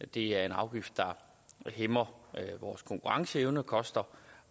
det er en afgift der hæmmer vores konkurrenceevne og koster